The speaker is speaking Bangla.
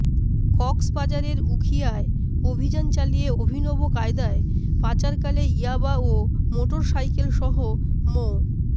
কক্সবাজারের উখিয়ায় অভিযান চালিয়ে অভিনব কায়দায় পাচারকালে ইয়াবা ও মোটরসাইকেলসহ মো